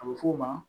A bɛ f'o ma